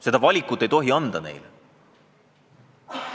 Seda valikut ei tohi neilt nõuda.